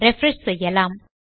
refresh செய்யலாம்